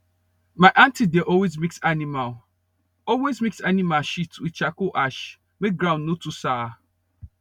my aunty dey always mix animal always mix animal shit with charcoal ash make ground no too sour